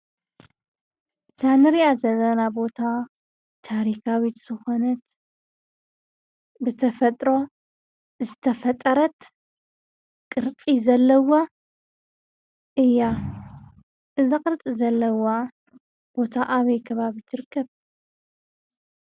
እታ ንሪኣ ዘለና ቦታ ታሪካዊት ዝኾነት ብተፈጥሮ ዝተፈጥረት ቅርፂ ዘለዋ እያ። እዛ ቅርፂ ዘለዋ ቦታ ኣበይ ከባቢ ትርከብ ?